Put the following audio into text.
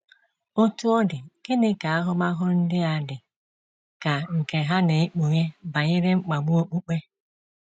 Otú ọ dị, gịnị ka ahụmahụ ndị dị ka nke ha na-ekpughe banyere mkpagbu okpukpe?